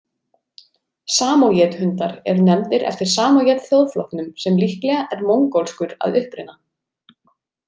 Samójed-hundar eru nefndir eftir samójed-þjóðflokknum sem líklega er mongólskur að uppruna.